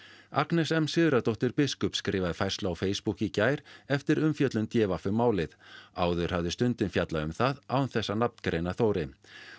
Agnes m Sigurðardóttir biskup skrifaði færslu á Facebook í gær eftir umfjöllun d v um málið áður hafði Stundin fjallað um það án þess að nafngreina Þóri